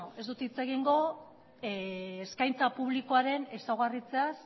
beno ez dut hitz egingo eskaintza publikoaren ezaugarriez